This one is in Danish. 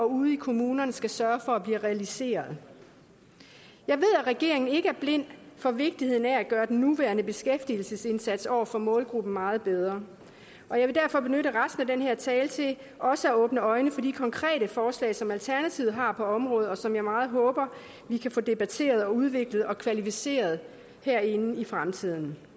ude i kommunerne skal sørge for bliver realiseret jeg ved at regeringen ikke er blind for vigtigheden af at gøre den nuværende beskæftigelsesindsats over for målgruppen meget bedre og jeg vil derfor benytte resten af den her tale til også at åbne andres øjne for de konkrete forslag som alternativet har på området og som jeg meget håber vi kan få debatteret og udviklet og kvalificeret herinde i fremtiden